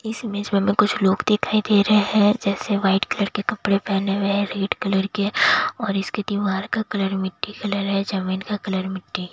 इस इमेज में कुछ लोग दिखाई दे रहे हैं जैसे व्हाइट कलर के कपड़े पहने हुए हैं रेड कलर के और इसके दीवार का कलर मिट्टी कलर है जमीन का कलर मिट्टी--